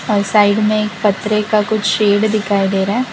और साइड में एक पटरे का कुछ शेड दिखाई दे रहा है।